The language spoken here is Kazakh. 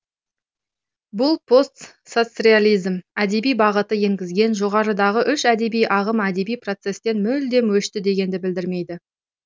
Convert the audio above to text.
бұл постсоцреализм әдеби бағыты енгізген жоғарыдағы үш әдеби ағым әдеби процестен мүлдем өшті дегенді білдірмейді